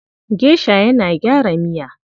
Gesha yana gyara miya.